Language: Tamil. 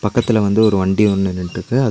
பக்கத்தில வந்து ஒரு வண்டி ஒன்னு நின்னுட்ருக்கு அது.